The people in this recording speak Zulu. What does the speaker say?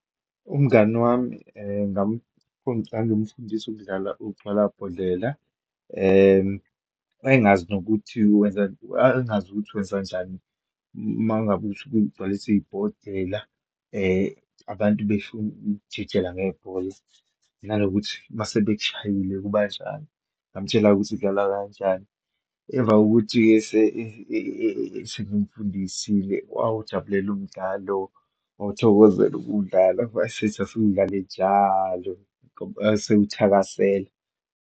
Umngani wami ngangimfundisa ukudlala ugcwala bhodlela. Wayengazi nokuthi wenza , wayengazi nokuthi wenza kanjani uma ngabe usuke ugcwalisa ibhodela. Abantu besho ukujikijela ngebhola, nanokuthi uma sebekushayile kubanjani, ngamtshela-ke ukuthi udlalwa kanjani. Emva kokuthi sengimfundisile wawujabulela umdlalo, wawuthokozela ukuwudlala, wasethi asuwudlale njalo ngoba esewuthakasela.